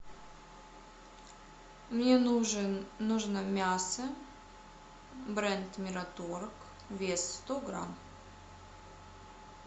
мне нужен нужно мясо бренд мираторг вес сто грамм